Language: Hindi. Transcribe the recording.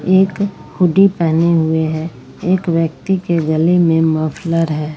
एक हुडी पहने हुए हैं एक व्यक्ति के गले में मफलर है।